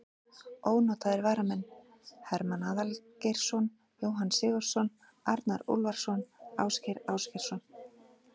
Ónotaðir varamenn: Hermann Aðalgeirsson, Jóhann Sigurðsson, Arnar Úlfarsson, Ásgeir Ásgeirsson.